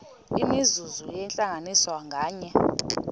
imizuzu yentlanganiso nganye